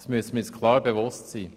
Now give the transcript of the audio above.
Dessen müssen wir uns bewusst sein.